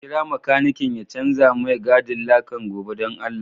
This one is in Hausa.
Ka kira makanikin ya chanza mai gadin lakan goba dan allah.